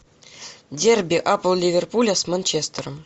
дерби апл ливерпуля с манчестером